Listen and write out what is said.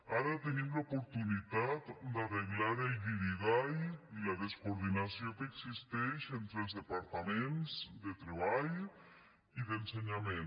ara tenim l’oportunitat d’arreglar el guirigall i la descoordinació que existeix entre els departaments de treball i d’ensenyament